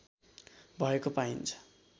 भएको पाइन्छ